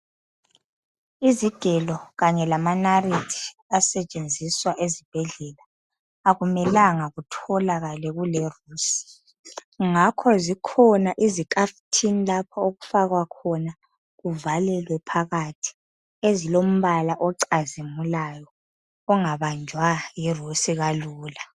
Izigelo kanye lamanarithi asetshenziswa ezibhedlela akumelanga kutholakale kulerusi ngakho zikhona izikafuthini lapho okufakwa khona kuvalelwe phakathi. Ezilombala ocazimulayo kungabanjwa yirusi kalula.